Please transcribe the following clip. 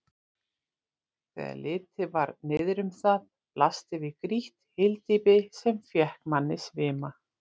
Þegar litið var niðrum það blasti við grýtt hyldýpi, sem fékk manni svima.